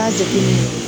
K'a jateminɛ